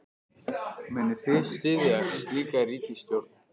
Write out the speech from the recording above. Munið þið styðja slíka ríkisstjórn?